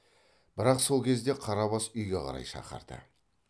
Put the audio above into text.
бірақ сол кезде қарабас үйге қарай шақырды